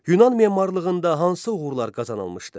Yunan memarlığında hansı uğurlar qazanılmışdı?